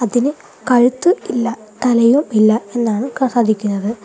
ഇതിന് കഴുത്ത് ഇല്ല തലയും ഇല്ല എന്നാണ് സാധിക്കുന്നത്.